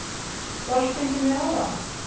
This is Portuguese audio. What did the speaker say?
Então, acho que tem que melhorar.